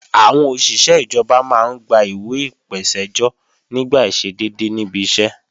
Àwọn òṣìṣé ìjọba máa ń gba ìwẹ̀ ìpèsẹ́jọ́ nígbà àìṣedédé níbi iṣẹ́